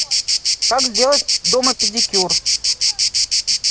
как сделать дома педикюр